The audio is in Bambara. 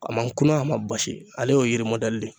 A ma kuna a ma basi ale y'o yiri de ye.